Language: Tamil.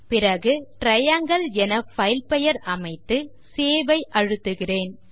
பிறகு டிரையாங்கில் என பைல் பெயர் அமைத்து சேவ் ஐ அழுத்துகிறேன்